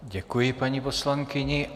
Děkuji, paní poslankyně.